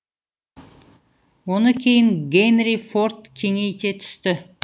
оны кейін генри форд кеңей те түсті